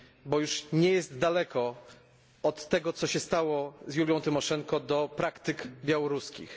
bo już nie jest daleko od tego, co się stało z Julią Tymoszenko, do praktyk białoruskich.